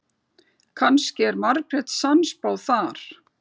Kannski var Margrét sannspá þar.